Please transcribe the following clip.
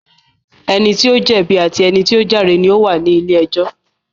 Ẹni tí ó jẹ̀bi àti ẹni tí ó jàre ni ó wà ní ilé ẹjọ́